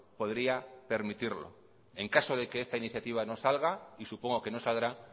podría permitirlo en caso de que esta iniciativa no salga y supongo que no saldrá